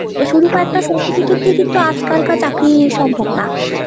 ঐ শুধু কয়েকটা certificate দিয়ে কিন্তু আজকালকার চাকরি সম্ভব না।